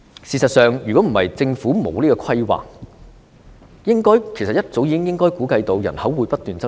事實上，如果不是政府欠缺規劃，應該早已估計到人口會不斷增長。